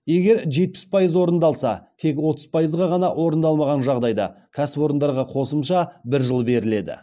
егер жетпіс пайыз орындалса тек отыз пайыз ғана орындалмаған жағдайда кәсіпорындарға қосымша бір жыл беріледі